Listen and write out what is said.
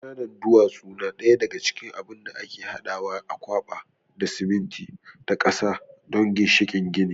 ƙananan duwatsu na daga cikin abin da ake hadawa a kwaɓa da siminti da ƙasa don ginshikin gini.